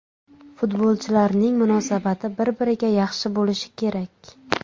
Futbolchilarni munosabati bir-biriga yaxshi bo‘lishi kerak.